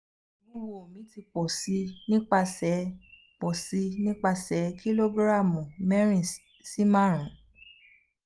iwuwo mi ti pọ si nipasẹ pọ si nipasẹ kilogiramu mẹrin si marun